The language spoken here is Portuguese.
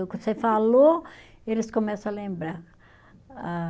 você falou, eles começa a lembrar. Ah